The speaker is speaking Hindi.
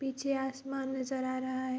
पीछे आसमान नजर आ रहा है।